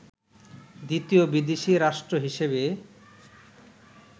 দ্বিতীয় বিদেশি রাষ্ট্র হিসেবে